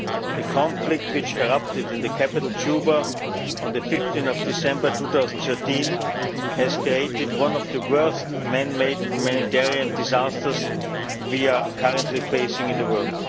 The conflict which erupted in the capital, Juba, on 15 December 2013 has created one of the worst man made humanitarian disasters we are currently facing in the world.